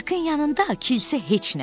Sirkın yanında kilsə heç nədir.